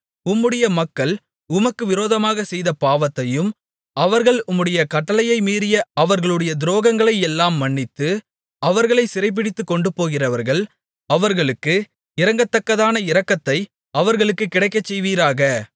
உம்முடைய மக்கள் உமக்கு விரோதமாகச் செய்த பாவத்தையும் அவர்கள் உம்முடைய கட்டளையை மீறிய அவர்களுடைய துரோகங்களை எல்லாம் மன்னித்து அவர்களைச் சிறைபிடித்துக் கொண்டுபோகிறவர்கள் அவர்களுக்கு இரங்கத்தக்கதான இரக்கத்தை அவர்களுக்குக் கிடைக்கச் செய்வீராக